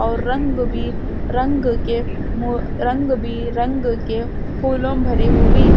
और रंग भी रंग के मो- रंग भी रंग के रंग भी रंग के फूलों भारी हुई